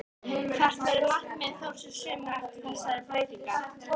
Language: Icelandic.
Hvert verður markmið Þórs í sumar eftir þessar breytingar?